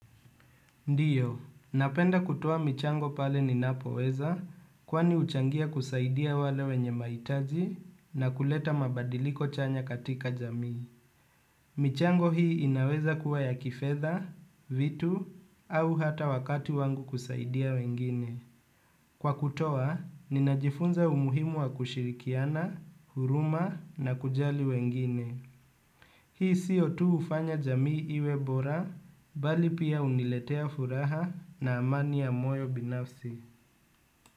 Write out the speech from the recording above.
Ndiyo, napenda kutoa michango pale ninapo weza kwani huchangia kusaidia wale wenye mahitaji na kuleta mabadiliko chanya katika jamii. Michango hii inaweza kuwa ya kifedha, vitu, au hata wakati wangu kusaidia wengine. Kwa kutoa, ninajifunza umuhimu wa kushirikiana, huruma na kujali wengine. Hii sio tu hufanya jamii iwe bora, bali pia huniletea furaha na amani ya moyo binafsi.